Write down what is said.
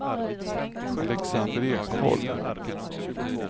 Alexander Ekholm